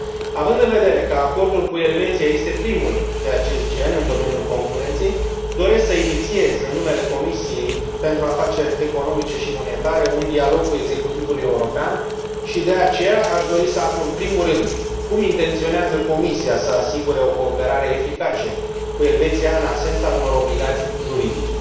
Având în vedere că acordul cu Elveția este primul de acest gen în domeniul concurenței, doresc să inițiez, în numele Comisiei pentru afaceri economice și monetare, un dialog cu executivul european și, de aceea, aș dori să aflu în primul rând cum intenționează Comisia să asigure o cooperare eficace cu Elveția în absența unor obligații juridice?